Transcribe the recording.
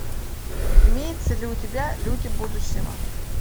имеется ли у тебя люди будущего